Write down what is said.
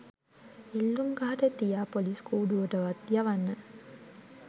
එල්ලුම්ගහට තියා පොලිස් කූඩුවටවත් යවන්න.